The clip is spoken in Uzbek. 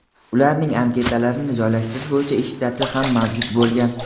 ularning anketalarini joylashtirish bo‘yicha ish shtati ham mavjud bo‘lgan.